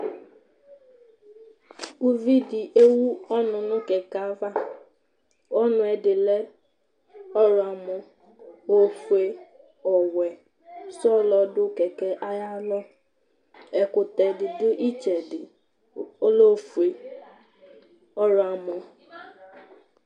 Uvìɖí ɛwu ɔnu ŋu kɛkɛ ayʋ ava Ɔnuɛ ɛdí lɛ ɔwlɔmɔ, ɔfʋe, ɔwɛ, ɔɖu kɛkɛ ayʋ alɔ Ɛkutɛ ɖi ɖu itsɛɖi ɔlɛ ɔfʋe, ɔwlɔmɔ